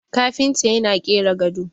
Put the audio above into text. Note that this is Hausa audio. kafinta yana kera gado